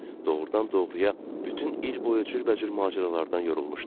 Doğrudan-doğruya bütün il boyu cürbəcür macəralardan yorulmuşdu.